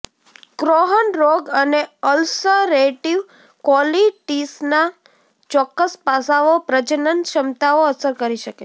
Crohn રોગ અને ulcerative કોલીટીસના ચોક્કસ પાસાઓ પ્રજનનક્ષમતાને અસર કરી શકે છે